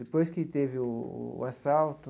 Depois que teve o assalto,